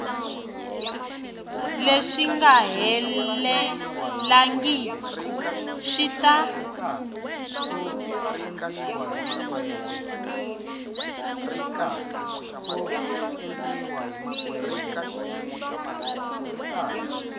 leswi nga helelangiku swi ta